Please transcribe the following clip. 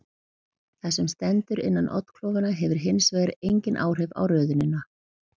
Það sem stendur innan oddklofanna hefur hins vegar engin áhrif á röðunina.